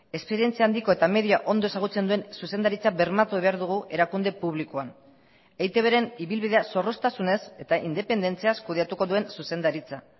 esperientzia handiko eta media ondo ezagutzen duen zuzendaritza bermatu behar dugu erakunde publikoan eitbren ibilbidea zorroztasunez eta independentziaz kudeatuko duen zuzendaritza